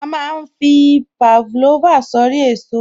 A má ń fi Pavlova sórí èso oko